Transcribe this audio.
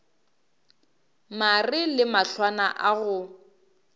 mare le mahlwana a go